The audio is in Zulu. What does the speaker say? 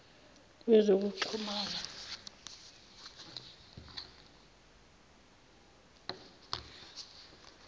wezokuxhumana